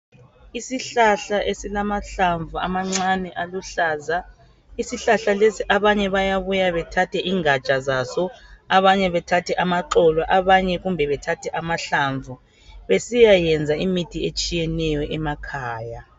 Isihlahla esilamahlamvu amancane aluhlaza isihlahla lesi abanye bayabuya bethathe ingatsha zazo abanye bethathe amaxolo abanye kumbe bethathe amahlamvu besiya yenza imithi etshiyeneyo emakhaya.